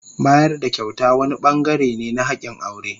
Bayar da kyauta wani bangare ne na hakin aure.